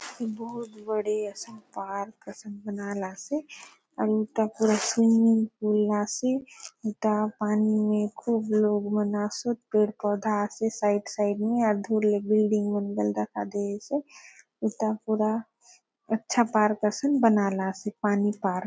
बहुत बड़े असन पार्क असन बनालासे आरु उता पुरा स्विमिंग पुल आसे उता पानी ने खूब लोग मन आसोत पेड़ - पौधा आसे साइड साइड मे धुर ने बिल्डिंग मन बले दखा दयसे उता पुरा अच्छा पार्क असन बनालासे पानी पार्क --